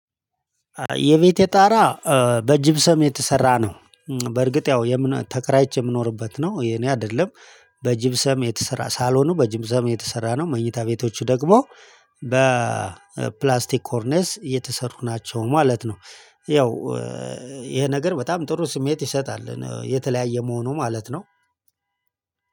የቤቴ ጣራ በጅብሰም የተሰራ ነው። በርግጥ ያው ተከራይቼ የምኖርበት ነው የኔ አይደለም። በጅብሰም የተሰራ ሳሎኑ በጅብሰም የተሰራ ነው። መኝታ ቤቶቹ ደግሞ ኮርንስ የተሰሩ ናቸው ማለት ነው። ያው ይሄ ነገር በጣም ጥሩ ስሜት ይሰጣል የተለያየ መሆኑ ማለት ነው።